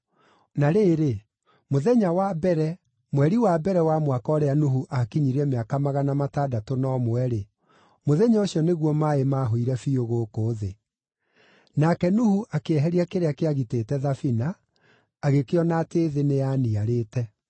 Na rĩrĩ, mũthenya wa mbere, mweri wa mbere wa mwaka ũrĩa Nuhu akinyirie mĩaka magana matandatũ na ũmwe-rĩ, mũthenya ũcio nĩguo maaĩ maahũire biũ gũkũ thĩ. Nake Nuhu akĩeheria kĩrĩa kĩagitĩte thabina, agĩkĩona atĩ thĩ nĩyaniarĩte.